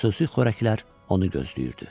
Xüsusi xörəklər onu gözləyirdi.